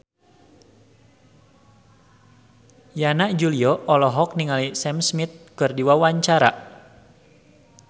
Yana Julio olohok ningali Sam Smith keur diwawancara